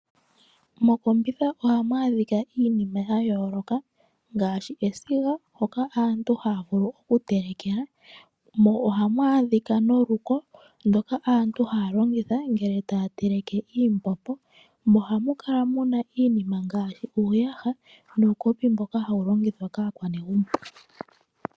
Mokombitha ohamu adhika iinima ya yooloka ngaashi esiga, hoka aantu haya vulu okutelekela. Mo ohamu adhika noluko ndoka aantu haya longitha ngele taya teleke iimbombo. Mo ohamu kala mu na iinima ngaashi uuyaha nuukopi mboka hawu longithwa kaanegumbo.